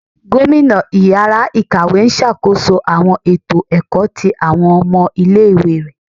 Gomina ìyára ikáwe n ṣakoso awọn eto ẹkọ ti awọn ọmọ ìlé-ìwé rẹ.